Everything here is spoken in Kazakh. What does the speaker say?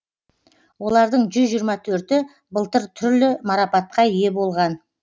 олардың жүз жиырма төрті былтыр түрлі марапатқа ие болған